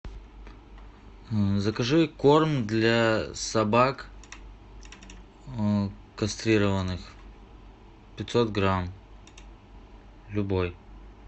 закажи корм для собак кастрированных пятьсот грамм любой